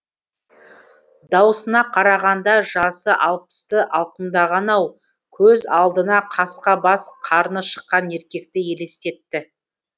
даусына қарағанда жасы алпысты алқымдаған ау көз алдына қасқа бас қарны шыққан еркекті елестетті